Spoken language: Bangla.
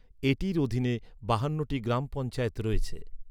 এটির অধীনে বাহান্নটি গ্রাম পঞ্চায়েত রয়েছে।